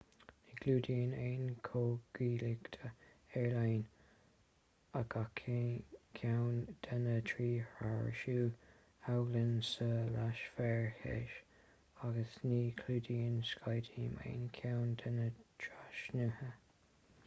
ní chlúdaíonn aon chomhghuaillíocht aerlíne gach ceann de na trí thrasnú aigéin sa leathsféar theas agus ní chlúdaíonn skyteam aon cheann de na trasnuithe